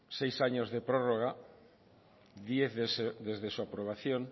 seis años de prórroga diez desde su aprobación